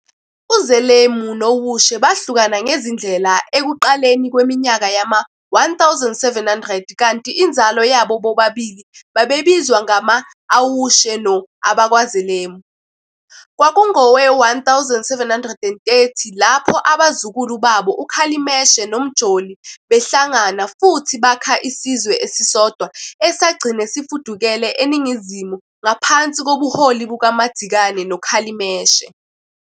UZelemu noWushe bahlukana ngezindlela ekuqaleni kweminyaka yama-1700 kanti inzalo yabo bobabili babizwa ngama-AmaWushe no-AbakwaZelemu. Kwakungowe-1730 lapho abazukulu babo, uKhalimeshe noMjoli, behlangana futhi bakha isizwe esisodwa esagcina sifudukele eningizimu ngaphansi kobuholi bukaMadzikane ka Khalimeshe.